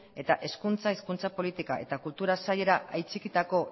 eta hizkuntza hezkuntza politika eta kultura sailera atxikitako